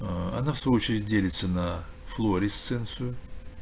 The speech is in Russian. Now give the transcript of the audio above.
аа она в свою очередь делится на флуоресценцию